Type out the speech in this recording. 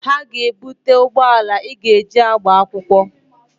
Ha ga-ebute ụgbọala Ị ga-eji agba akwụkwọ.